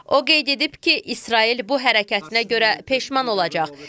O qeyd edib ki, İsrail bu hərəkətinə görə peşman olacaq.